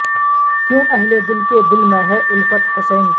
کیوں اہل دل کے دل میں ہے الفت حسین کی